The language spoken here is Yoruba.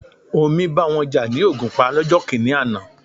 Omi bá wọn jà ní Ògùnpa lọ́jọ́ kìíní àná.